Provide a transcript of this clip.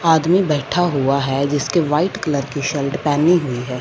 आदमी बैठा हुआ है जिसके व्हाइट कलर की शल्ट पहनी हुई है।